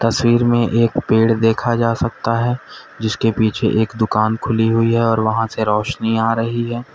तस्वीर में एक पेड़ देखा जा सकता है जिसके पीछे एक दुकान खुली हुई है और वहां से रोशनी आ रही है।